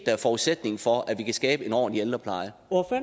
er forudsætningen for at vi kan skabe en ordentlig ældrepleje